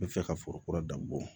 N bɛ fɛ ka foro kura dan bɔ